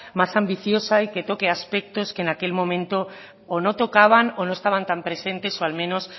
más ambiciosa y que toque aspectos que en aquel momento o no tocaban o no estaban tan presentes o al menos